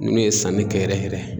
Munnu ye sanni kɛ yɛrɛ yɛrɛ